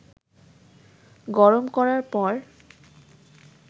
গরম করার পর